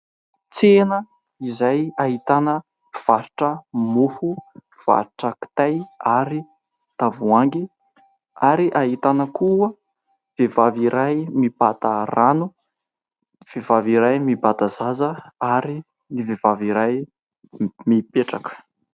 Tsena izay ahitana mpivarotra mofo, mpivarotra kitay ary tavoahangy. Ary ahitana koa vehivavy iray mibata rano, vehivavy iray mibata zaza ary ny vehivavy mipetraka.